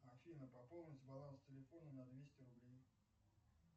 афина пополнить баланс телефона на двести рублей